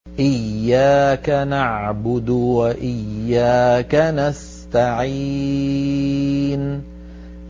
إِيَّاكَ نَعْبُدُ وَإِيَّاكَ نَسْتَعِينُ